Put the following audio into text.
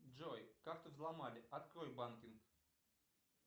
джой карту взломали открой банкинг